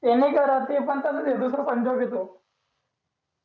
ते नाही करत wish दुसरा पंजाब ये तो